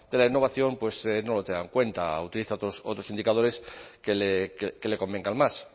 innovación pues no lo tenga en cuenta utiliza otros indicadores que le convengan más